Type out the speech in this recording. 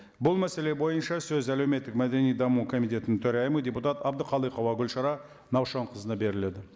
бұл мәселе бойынша сөз әлеуметтік мәдени даму комитетінің төрайымы депутат әбдіқалықова гүлшара наушақызына беріледі